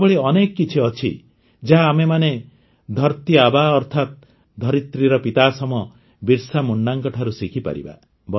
ଏଭଳି ଅନେକ କିଛି ଅଛି ଯାହା ଆମେମାନେ ଧରତୀଆବା ଅର୍ଥାତ୍ ଧରିତ୍ରୀର ପିତାସମ ବିର୍ସାମୁଣ୍ଡାଙ୍କଠାରୁ ଶିଖିପାରିବା